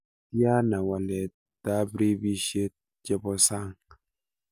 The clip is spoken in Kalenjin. Tiana waletab rabisiek chebosang